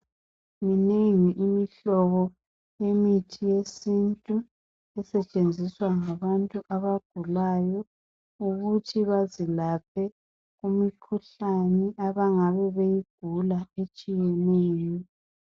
Minengi imihlobo yemithi yesintu, esetshenziswa yizigulane, ekuzelapheni imikhuhlane etshiyeneyo, abahlukuluzayo.